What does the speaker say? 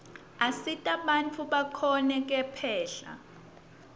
asita bantfu bakhone kephla